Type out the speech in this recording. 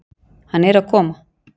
Hann er að koma.